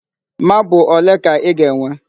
Marble ole ka ị ga-enwe?